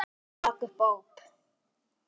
Og rak upp óp.